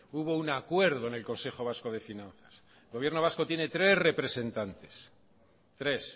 hubo un acuerdo en el consejo vasco de finanzas el gobierno vasco tiene tres representantes tres